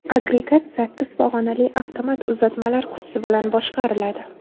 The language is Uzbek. Agregat sakkiz pog‘onali avtomat uzatmalar qutisi bilan boshqariladi.